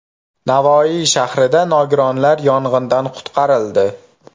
Navoiy shahrida nogironlar yong‘indan qutqarildi.